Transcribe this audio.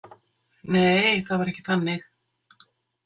Nei, það var ekki þannig.